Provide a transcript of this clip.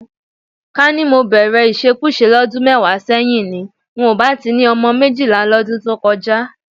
Ká ní mo bẹ̀rẹ̀ ìṣekúṣe lọ́dún mẹ́wàá sẹ́yìn ni, n ò bá ti ni ọmọ méjìlá lọ́dún tó kọjá